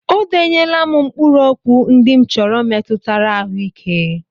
O denyela m mkpụrụokwu ndị m chọrọ metụtara ahụike.